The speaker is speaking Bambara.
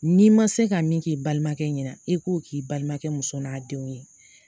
N'i ma se ka min k'i balimakɛ ɲɛna e k'o k'i balimakɛ muso n'a denw ye.